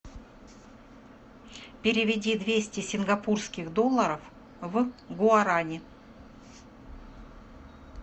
переведи двести сингапурских долларов в гуарани